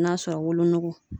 N'a sɔrɔ wolonugu